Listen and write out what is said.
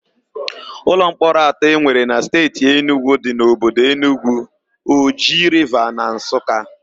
Ụlọmkpọrọ atọ e nwere na Steeti Enugwu dị n'obodo Enugwu, Oji Riva na Nsụka.